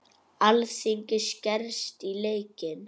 Alþingi skerst í leikinn